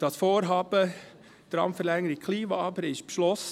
Das Vorhaben Tramverlängerung Kleinwabern ist beschlossen.